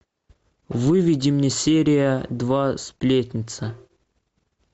выведи мне серия два сплетница